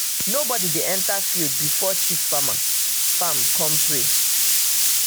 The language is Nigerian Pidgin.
nobody dey enter field before chief farmer farmer come pray.